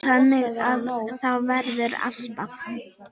Þannig að það verður alltaf.